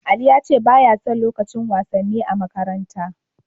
Ali ya ce ba ya son lukacin wasanni a makaranta.